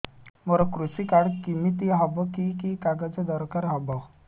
ମୋର କୃଷି କାର୍ଡ କିମିତି ହବ କି କି କାଗଜ ଦରକାର ହବ